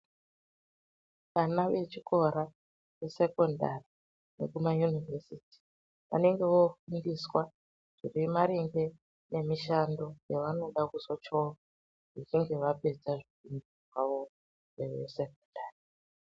Vana vechikora vesekondari nekumayunivhesiti vanonga vofundisa zvine maringe nemishando yavanoda kuzoita vachinge vapedza chikora .